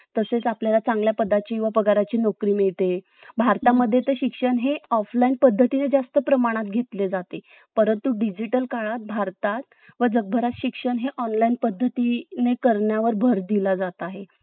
तसेच आपल्याला चांगल्या पदाची व पगाराची नोकरी मिळते भारतामध्ये तर शिक्षण हे Offline पद्धतीने जास्त प्रमाणात घेतले जाते परंतु Digital काळात भारतात व जगभरात शिक्षण हे Online पद्धतीने करण्यावर भर दिला जात आहे